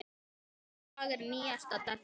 Þetta lag er nýjasta dellan.